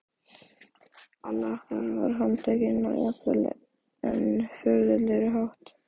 Annar okkar var handtekinn á jafnvel enn furðulegri hátt.